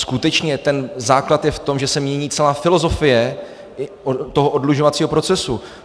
Skutečně ten základ je v tom, že se mění celá filozofie toho oddlužovacího procesu.